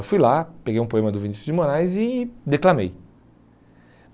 Eu fui lá, peguei um poema do Vinicius de Moraes e declamei.